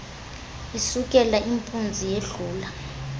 isukela impunzi yedlula